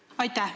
Aitäh!